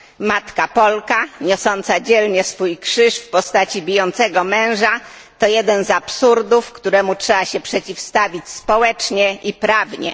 Matka Polka niosąca dzielnie swój krzyż w postaci bijącego męża, to jeden z absurdów, któremu trzeba się przeciwstawić społecznie i prawnie.